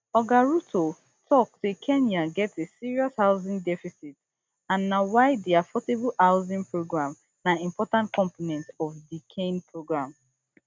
oga ruto tok say kenya get a serious housing deficit and na why di affordable housing program na important component of di kain program